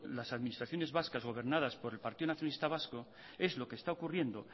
las administraciones vascas gobernadas por el partido nacionalista vasco es lo que está ocurriendo